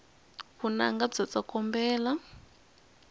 vunanga bya tsokombela